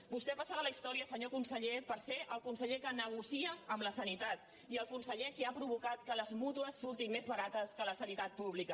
vostè passarà a la història senyor conseller per ser el conseller que negocia amb la sanitat i el conseller que ha provocat que les mútues surtin més barates que la sanitat pública